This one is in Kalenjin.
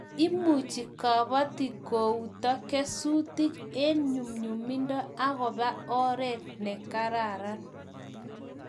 Imuchi kabatik kouto kesutik eng' nyumnyumindo akobo oret ne karan